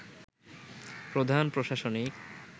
প্রধান প্রশাসনিক